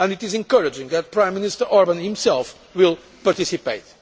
discussion. It is encouraging that Prime Minister Orbán himself will participate.